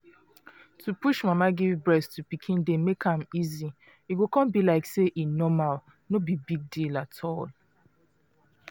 to push mama give breast to pikin dey make am easy e go con be like say e normal no big deal at all